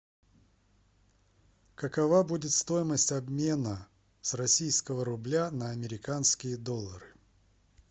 какова будет стоимость обмена с российского рубля на американские доллары